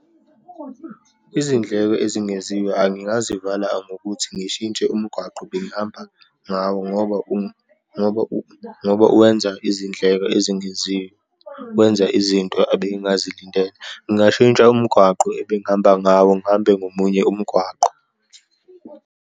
Izindleko ezingeziwe, angingazivala ngokuthi ngishintshe umgwaqo bengihamba ngawo ngoba, ngoba uwenza izindleko ezingeziwe, kwenza izinto abengazilindele. Ngingashintsha umgwaqo ebengihamba ngawo, ngihambe ngomunye umgwaqo.